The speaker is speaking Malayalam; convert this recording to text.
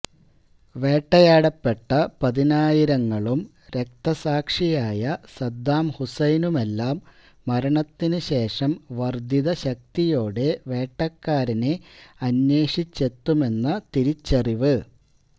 വേട്ടയാടപ്പെട്ട പതിനായിരങ്ങളും രക്തസാക്ഷിയായ സദ്ദാം ഹുസൈനുമെല്ലാം മരണത്തിനു ശേഷം വര്ധിത ശക്തിയോടെ വേട്ടക്കാരനെ അന്വേഷിച്ചെത്തുമെന്ന തിരിച്ചറിവ്